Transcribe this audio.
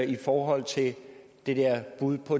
i forhold til det der bud på